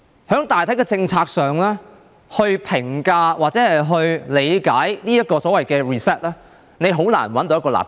你用大體政策來評價或理解這個所謂的 "reset"， 很難找到一個立腳點。